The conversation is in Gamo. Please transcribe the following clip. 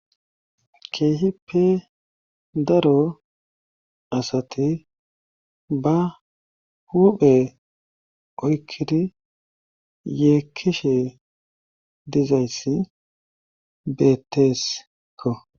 Keehi pe daro asati ba huphe oykkidi yeekkishe dizayssi beettesekko.